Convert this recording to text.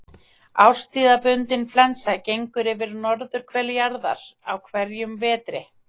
Árstíðabundin flensa gengur yfir norðurhvel jarðar á hverjum vetri.